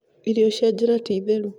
Irio cia njĩra ti theru